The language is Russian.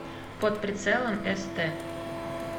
под прицелом эстэ